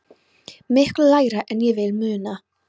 Miklu lægra en ég vil muna.